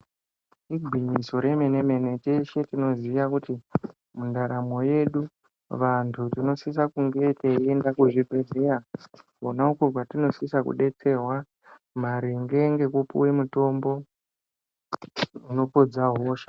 Igwinyiso re mene mene teshe tinoziya kuti muntaramo yedu vantu tino sise kunge teyi ende ku zvi bhedhleya konako kwatino sisa kudetserwa maringe ngeku puwe mutombo ino podza hosha.